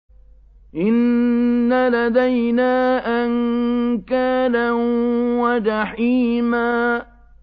إِنَّ لَدَيْنَا أَنكَالًا وَجَحِيمًا